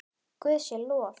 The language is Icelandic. Guði sé lof!